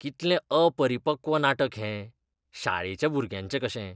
कितलें अपरिपक्व नाटक हें. शाळेच्या भुरग्यांचें कशें!